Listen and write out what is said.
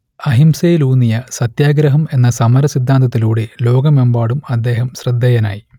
അഹിംസയിലൂന്നിയ സത്യാഗ്രഹം എന്ന സമര സിദ്ധാന്തത്തിലൂടെ ലോകമെമ്പാടും അദ്ദേഹം ശ്രദ്ധേയനായി